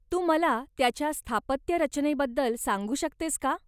तू मला त्याच्या स्थापत्यरचनेबद्दल सांगू शकतेस का?